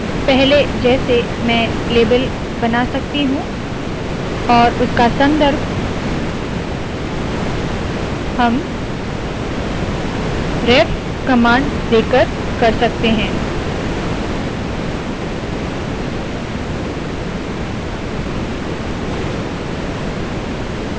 पहले जैसे मैं लेबल बना सकती हूँ और उसका संदर्भ हम ref कमांड देकर कर सकते है